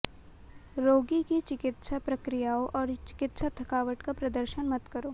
रोगी की चिकित्सा प्रक्रियाओं और चिकित्सा थकावट का प्रदर्शन मत करो